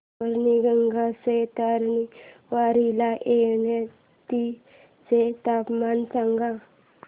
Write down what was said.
पैनगंगेच्या तीरावरील येवती चे तापमान सांगा